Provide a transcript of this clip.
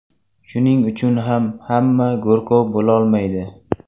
Shuning uchun ham hamma go‘rkov bo‘lolmaydi.